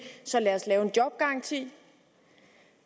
lad os lave en jobgaranti